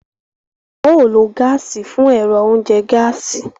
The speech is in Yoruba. Wọn ò ló gaasi fún ẹrọ oúnjẹ gaasi